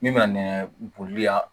Min ma nɛɛ boli yan